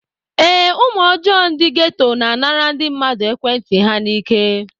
Ee, ụmụ ọjọọ ndị geto na-anara ndị mmadụ ekwentị ha n'ike.